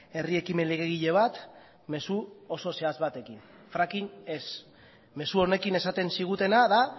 herri ekimen legegile bat mezu oso zehatz batekin fracking ez mezu honekin esaten zigutena da